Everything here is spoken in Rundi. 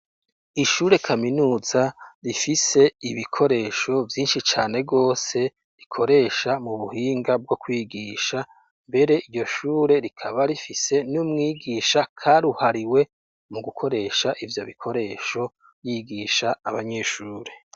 Ishure kaminuza rifise ibikoresho vyinshi cane rwose rikoresha mu buhinga bwo kwigisha, mbere iryo shure rikaba rifise n'umwigisha karuhariwe mu gukoresha ivyo bikoresho yigisha abanyeshure.